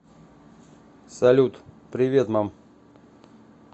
салют привет мам